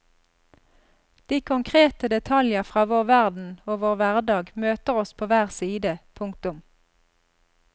De konkrete detaljer fra vår verden ogvår hverdag møter oss på hver side. punktum